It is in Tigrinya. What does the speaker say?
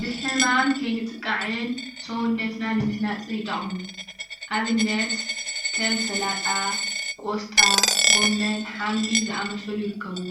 ብሕማም ከይንጥቃዕን ስውነትና ንምህናፅ ይጠቅሙ፡፡ አብነት ከም ሰላጣ ፣ ቆስጣ ፣ ጉመን ፣ሓምሊ ዝአመስሉ ይርከብዎ፡፡